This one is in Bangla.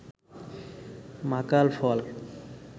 মাকাল ফল